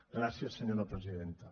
gràcies senyora presidenta